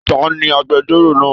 Taní agbẹ̀jọ́ro náà?